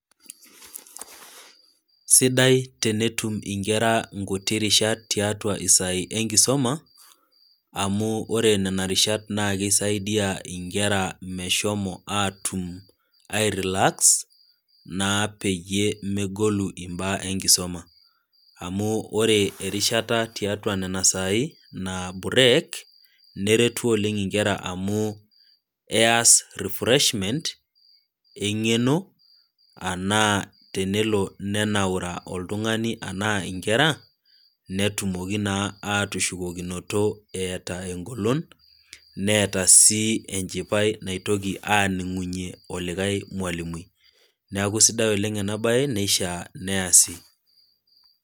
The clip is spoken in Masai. Sidai tenetum iinkera inkuti rishat tiatua isaai enkisuma, amu ore nena rishat naa keisaidia inkera meshomo aatum airelax, naa peyie megolu imbaa enkisoma, amu ore erishata tiatua nena saai, naa burek, neretu oleng' inkera amu keas refreshment, eng'eno anaa tenelo nenaura oltung'ani anaa inkera, netumoki naa atushukokinoto eata engolon, neata sii enchipai naitoki aaning'unye olikai mwalimui, neaku sidai oleng' ena bae neishaa neasi.